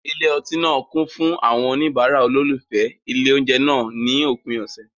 Ilé ọtí náà kún fún àwọn oníbàárà olólùfẹ́ ilé oúnjẹ náà ní òpin ọ̀sẹ̀.